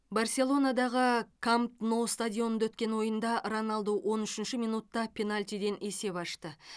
барселонадағы камп ноу стадионында өткен ойында роналду он үшінші минутта пенальтиден есеп ашты